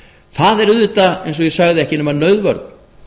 það er auðvitað eins og ég sagði ekki nema nauðvörn